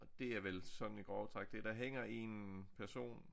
Og det er vel sådan i grove træk det der hænger en person